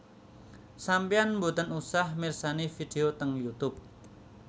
Sampean mboten usah mirsani video teng Youtube